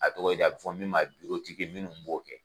A tɔgɔ ye di a bɛ fɔ min ma ko minnuw b'o kɛ.